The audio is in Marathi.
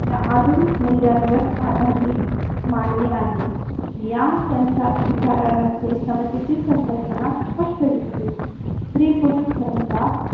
या आधुनिक मुल्यांवर आधारिली मान्य आहे. या त्यांच्या विचारांमध्ये समतेची संकल्पना स्पष्ट दिसते. स्त्री, पुरुष समता या